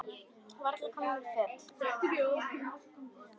Við varla komnar í fötin.